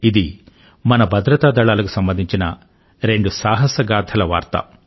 ఇది మన భద్రత దళాలకు సంబంధించిన రెండు సాహస గాథల వార్త